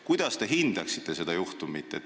Kuidas te hindaksite seda juhtumit?